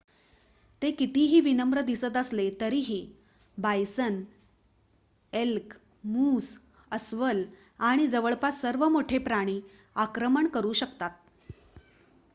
ते कितीही विनम्र दिसत असले तरीही बायसन एल्क मूस अस्वल आणि जवळपास सर्व मोठे प्राणी आक्रमण करू शकतात